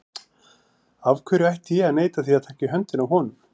Af hverju ætti ég að neita því að taka í höndina á honum?